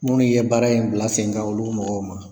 Minnu ye baara in bila sen kan olu mɔgɔw ma.